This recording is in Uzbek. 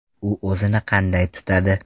U o‘zini qanday tutadi?